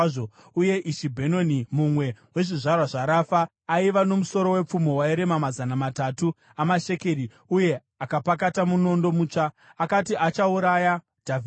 Uye Ishibhi-Bhenoni, mumwe wezvizvarwa zvaRafa, aiva nomusoro wepfumo wairema mazana matatu amashekeri uye akapakata munondo mutsva, akati achauraya Dhavhidhi.